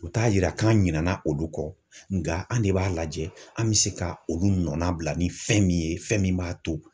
U t'a yira k'an ɲinɛna olu kɔ nka an de b'a lajɛ an bɛ se ka olu nɔ nabila ni fɛn min ye fɛn min b'a to.